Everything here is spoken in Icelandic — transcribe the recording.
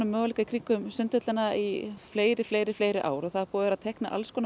möguleika í kringum Sundhöllina í fleiri fleiri fleiri ár verið að teikna